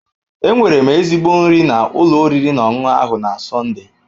Enwere m ezigbo nri na ụlọ oriri na ọṅụṅụ ahụ na Sọnde